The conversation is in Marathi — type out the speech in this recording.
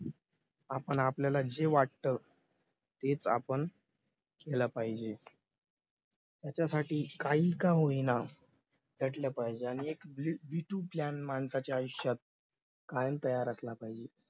आपण आपल्याला जे वाटत तेच आपण केलं पाहिजे त्याच्यासाठी काही का होईना लढलं पाहिजे आणि एक b two माणसाच्या आयुष्यात कायम तयार असला पाहिजे.